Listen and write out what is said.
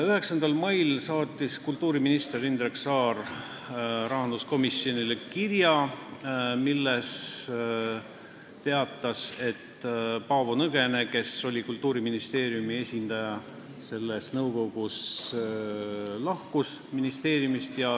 9. mail saatis kultuuriminister Indrek Saar rahanduskomisjonile kirja, milles teatas, et Paavo Nõgene, kes oli Kultuuriministeeriumi esindaja selles nõukogus, on ministeeriumist töölt lahkunud.